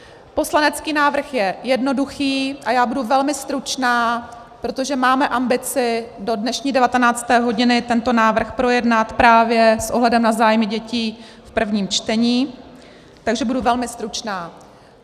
Poslanecký návrh je jednoduchý a já budu velmi stručná, protože máme ambici do dnešní devatenácté hodiny tento návrh projednat právě s ohledem na zájmy dětí v prvním čtení, takže budu velmi stručná.